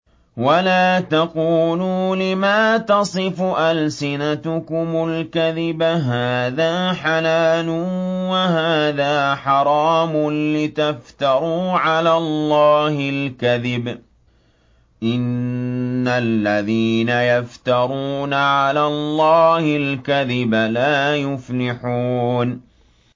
وَلَا تَقُولُوا لِمَا تَصِفُ أَلْسِنَتُكُمُ الْكَذِبَ هَٰذَا حَلَالٌ وَهَٰذَا حَرَامٌ لِّتَفْتَرُوا عَلَى اللَّهِ الْكَذِبَ ۚ إِنَّ الَّذِينَ يَفْتَرُونَ عَلَى اللَّهِ الْكَذِبَ لَا يُفْلِحُونَ